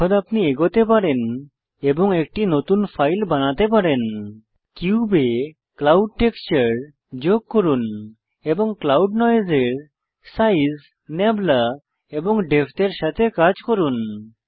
এখন আপনি এগোতে পারেন এবং একটি নতুন ফাইল বানাতে পারেন কিউবে ক্লাউড টেক্সচার যোগ করুন এবং ক্লাউড নয়েসের সাইজ নাবলা এবং ডেপথ এর সাথে কাজ করুন